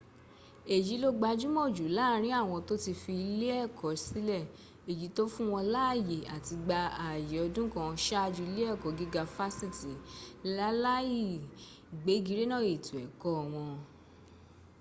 èyí ló gbajúmọ̀ jù láàrin àwọn tó ti fi iléẹ̀kọ́ sílẹ̀ èyí tó fún wọn láàyè àti gba ààyè ọdún kan sáájú iléẹ̀kọ́ gíga fásitì, láláì gbégirénà ètò ẹ̀kọ́ wọn